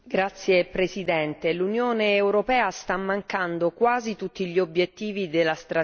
L'Unione europea sta mancando quasi tutti gli obiettivi della strategia Europa